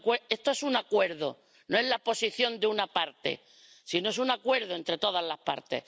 Esto es un acuerdo no es la posición de una parte, sino que es un acuerdo entre todas las partes.